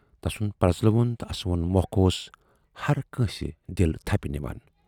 تَسُند پرزلوُن تہٕ اَسٕوُن مۅکھ اوس ہر کٲنسہِ دِل تھَپہِ نِوان۔